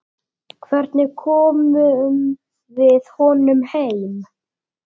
Hvernig komum við honum heim?